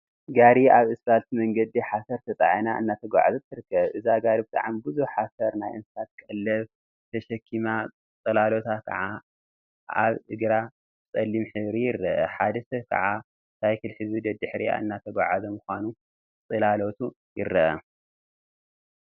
ጋሪ አብ እስፓልት መንገዲ ሓሰር ተፃዒና እናተጓዓዘት ትርከብ፡፡ እዛ ጋሪ ብጣዕሚ ብዙሕ ሓሰር/ናይ እንስሳት ቀለብ/ ተሸኪማ ፅላሎታ ከዓ አብ እግራ ብፀሊም ሕብሪ ይርአ፡፡ ሓደ ሰብ ከዓ ሳይክል ሒዙ ደድሕሪአ እናተጓዓዘ ምኳኑ ፅላሎቱ ይርአ፡፡